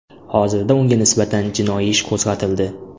Hozirda unga nisbatan jinoiy ish qo‘zg‘atildi .